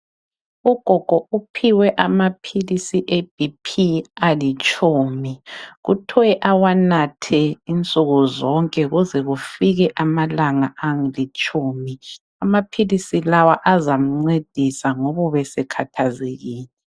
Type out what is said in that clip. Ugogo uphiwe amaphilisi ebp alitshumi kuthwe awanathe insuku zonke kuze kufike amalanga alitshumi. Amaphilisi lawa azamncedisa ngobu besekhathazekile.